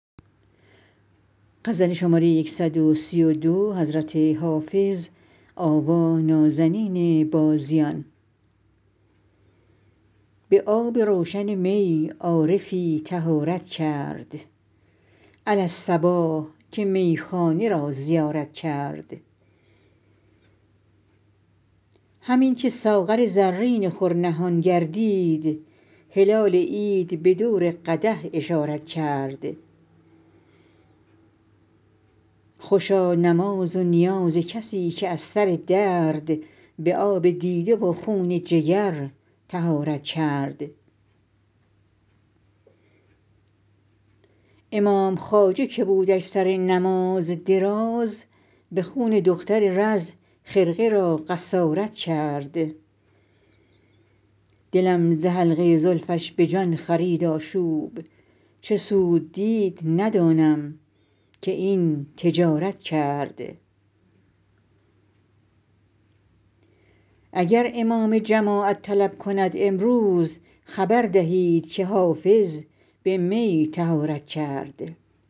به آب روشن می عارفی طهارت کرد علی الصباح که میخانه را زیارت کرد همین که ساغر زرین خور نهان گردید هلال عید به دور قدح اشارت کرد خوشا نماز و نیاز کسی که از سر درد به آب دیده و خون جگر طهارت کرد امام خواجه که بودش سر نماز دراز به خون دختر رز خرقه را قصارت کرد دلم ز حلقه زلفش به جان خرید آشوب چه سود دید ندانم که این تجارت کرد اگر امام جماعت طلب کند امروز خبر دهید که حافظ به می طهارت کرد